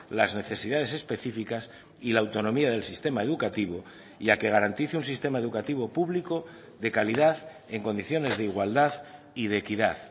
las necesidades específicas y la autonomía del sistema educativo y a que garantice un sistema educativo público de calidad en condiciones de igualdad y de equidad